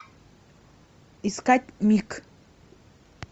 искать миг